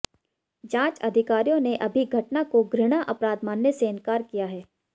जांच अधिकारियों ने अभी घटना को घृणा अपराध मानने से इन्कार किया है